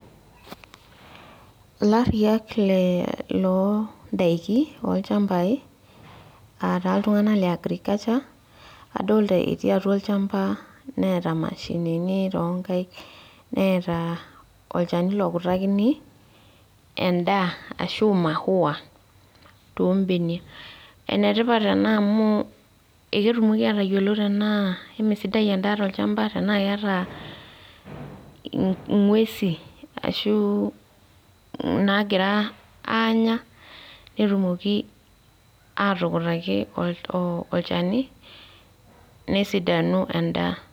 Ilariak le loo ndaiki olchambai , aataa iltunganak le agriculture adolta etii atua olchamba neeta imashinini toonkaik , neeta olchani lokutakini endaa ashu mahuawa too mbenia. Ene tipat ena amu eketumoki atayiolo tenaa emesidai endaa tolchamba tenaa keeta ingwesi ashu nagira anya , netumoki atukutaki olchani nesidanu endaa.